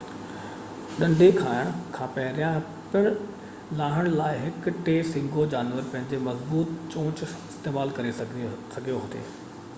ڏنڍي کائڻ کان پهريان پن لاهڻ لاءَ هڪ ٽي سينگهو جانور پنهنجي مضبوط چونچ استعمال ڪري سگهيو ٿي